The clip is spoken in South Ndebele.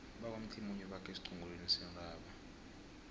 bakwamthimunye bakhe esiqongolweni sentaba